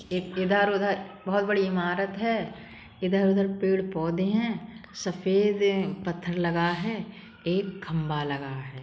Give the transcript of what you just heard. एक इधर उधर बहोत बड़ी इमारत है। इधर उधर पेड़ पौधें हैं। सफेद पत्थर लगा है। एक खंबा लगा है।